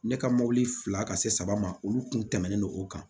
Ne ka mɔbili fila ka se saba ma olu kun tɛmɛnen no o kan